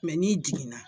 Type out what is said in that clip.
n'i jiginna